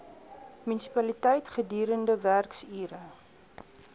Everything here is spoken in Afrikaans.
munisipaliteit gedurende werksure